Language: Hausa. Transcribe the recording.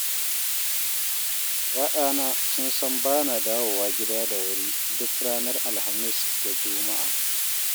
Ya'yana sun san bana dawowa gida da wuri duk ranar Alhamis da juma'a.